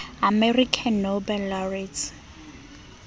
american nobel laureates